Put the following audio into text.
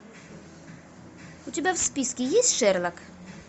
у тебя в списке есть шерлок